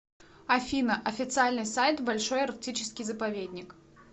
афина официальный сайт большой арктический заповедник